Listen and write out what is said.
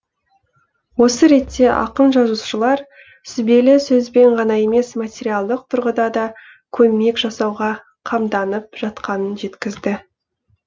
осы ретте ақын жазушылар сүбелі сөзбен ғана емес материалдық тұрғыда да көмек жасауға қамданып жатқанын жеткізді